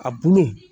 A bulu